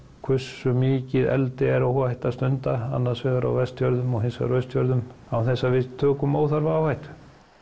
hversu mikið eldi er óhætt að stunda annars vegar á Vestfjörðum hins vegar á Austfjörðum án þess að við tökum óþarfa áhættu